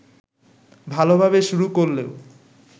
ভালোভাবে শুরু করলেও